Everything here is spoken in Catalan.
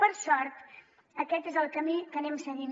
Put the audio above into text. per sort aquest és el camí que anem seguint